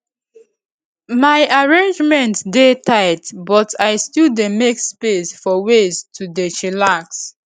my arrangement dey tight but i still dey make space for ways to dey chillax